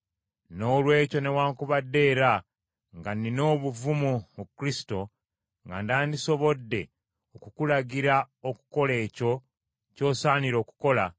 Noolwekyo newaakubadde era, nga nnina obuvumu mu Kristo, nga nandisobodde okukulagira okukola ekyo ky’osaanira okukola,